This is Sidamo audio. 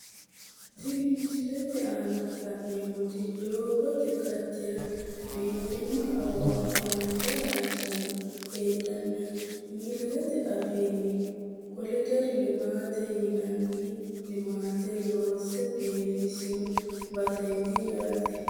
Tini misilete aana la`neemoti doogote qacera biifano awawa haanja hayisono heedhana ingilizete afiini kolder limaate yinani limaate loose bifisino baseeti yaate.